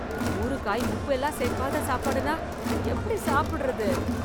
ஊறுகாய், உப்பு எல்லாம் சேர்க்காத சாப்பாடுன்னா, எப்டி சாப்டறது...